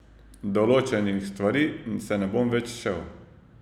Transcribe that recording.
Določenih stvari se ne bom več šel.